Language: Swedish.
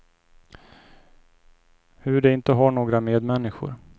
Hur de inte har några medmänniskor.